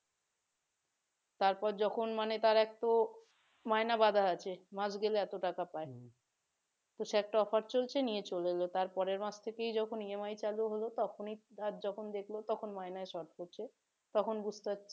তারপর যখন তার মানে একটু মাইনা বাধা আছে মাস গেলে এত টাকা পায় সে একটা offer চলছে নিয়ে চলে এলো তারপরে মাস থেকে যখন EMI চালু হল তখনই যখন দেখলো মায়নায় শর্ট পড়ছে তখন বুঝতে